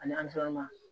Ani